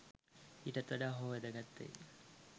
ඊටත් වඩා හෝ වැදගත් වෙයි.